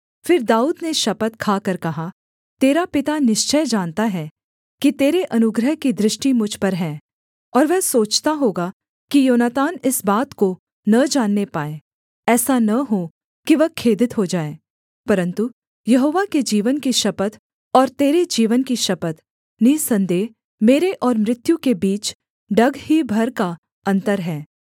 फिर दाऊद ने शपथ खाकर कहा तेरा पिता निश्चय जानता है कि तेरे अनुग्रह की दृष्टि मुझ पर है और वह सोचता होगा कि योनातान इस बात को न जानने पाए ऐसा न हो कि वह खेदित हो जाए परन्तु यहोवा के जीवन की शपथ और तेरे जीवन की शपथ निःसन्देह मेरे और मृत्यु के बीच डग ही भर का अन्तर है